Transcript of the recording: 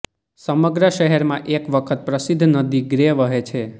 સમગ્ર શહેરમાં એક વખત પ્રસિદ્ધ નદી ગ્રે વહે છે